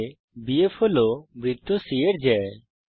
চিত্রে বিএফ হল বৃত্ত c এর জ্যা